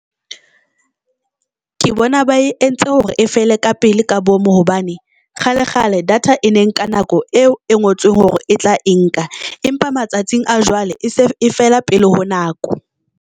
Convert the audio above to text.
Ke bona ba e entse hore e fele kapele ka bomo hobane kgale kgale data e ne nka nako eo e ngotsweng hore e tla e nka, empa matsatsing a jwale fela pele ho nako.